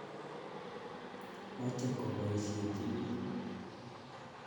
Mache kopoisyechi piik.